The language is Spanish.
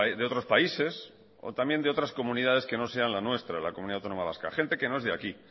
de otros países o también de otras comunidades que no sean la nuestra la comunidad autónoma vasca gente que no es de aquí